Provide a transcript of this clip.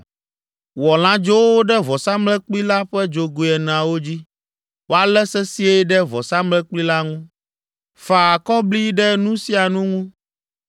Wɔ lãdzowo ɖe vɔsamlekpui la ƒe dzogoe eneawo dzi, woalé sesĩe ɖe vɔsamlekpui la ŋu. Fa akɔbli ɖe nu sia nu ŋu.